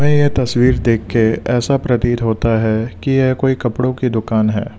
ये तस्वीर देखके ऐसा प्रतीत होता है कि यह कोई कपड़ों की दुकान है।